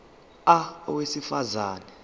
a owesifaz ane